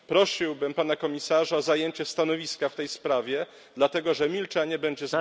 Prosiłbym pana komisarza o zajęcie stanowiska w tej sprawie, dlatego że milczenie będzie...